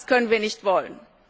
Das können wir nicht wollen.